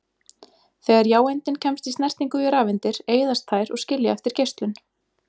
Þegar jáeindin kemst í snertingu við rafeindir eyðast þær og skilja eftir geislun.